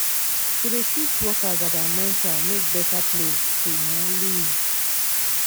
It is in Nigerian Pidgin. to de teach workers about mental make better place to um live.